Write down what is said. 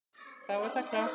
Þá er það klárt.